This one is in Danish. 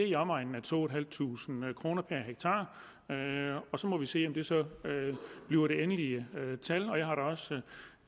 i omegnen af to tusind fem hundrede kroner per hektar så må vi se om det så bliver det endelige tal